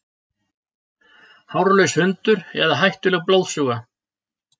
Hárlaus hundur eða hættuleg blóðsuga